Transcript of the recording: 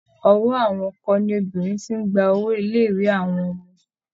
Ọwọ́ àwọn ọkọ ni obìnrin ti ń gba owó ilé-ìwé àwọn ọmọ.